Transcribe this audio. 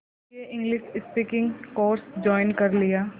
इसलिए English speaking course join कर लिया